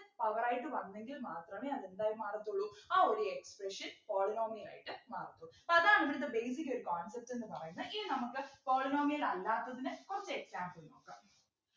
Power ആയിട്ട് വന്നെങ്കിൽ മാത്രമേ അതെന്തായി മാറത്തുള്ളൂ ആ ഒരു expression polynomial ആയിട്ട് മാറത്തുള്ളൂ അതാണ് ഇവിടുത്തെ basic ഒരു concept ന്ന് പറയുന്നേ ഇനി നമുക്ക് polynomial അല്ലാത്തതിനെ കുറച്ചു example നോക്കാം